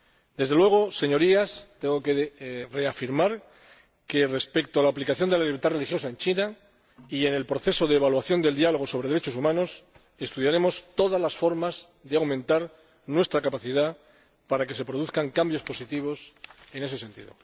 Desde luego, Señorías, tengo que reafirmar que, respecto a la aplicación de la libertad religiosa en China y en el proceso de evaluación del Diálogo sobre Derechos Humanos, estudiaremos todas las formas de aumentar nuestra capacidad para que se produzcan cambios positivos en ese sentido.